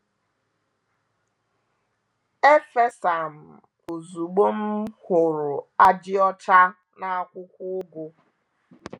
E'fesa m ozugbo m m hụrụ ajị ọcha n’akwụkwọ ugu.